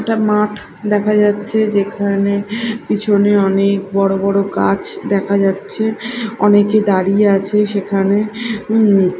একটা মাঠ দেখা যাচ্ছে যেখানে পিছনে অনেক বড়ো বড়ো গাছ দেখা যাচ্ছে অনেকে দাঁড়িয়ে আছে সেখানে উম --